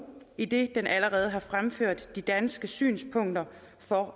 idet den allerede har fremført de danske synspunkter for